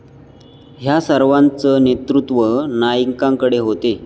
ह्या सर्वांचं नेतृत्व नाईकांकडे होते.